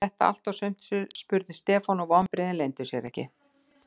Var þetta allt og sumt? spurði Stefán og vonbrigðin leyndu sér ekki.